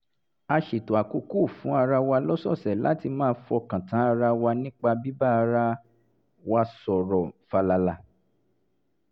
a ṣètò àkókò fún ara wa lọ́sọ̀ọ̀sẹ̀ láti máa fọkàn tán ara wa nípa bíbá ara wa sọ̀rọ̀ fàlàlà